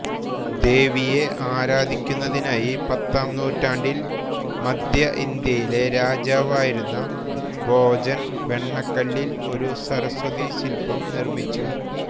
ദേവിയെ ആരാധിക്കുന്നതിനായി പത്താം നൂറ്റാണ്ടിൽ മധ്യ ഇന്ത്യയിലെ രാജാവായിരുന്ന ഭോജൻ വെണ്ണക്കല്ലിൽ ഒരു സരസ്വതി ശില്പം നിർമിച്ചു